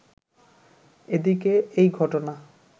এদিকে এই ঘটনা